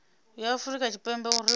ya afurika tshipembe uri vha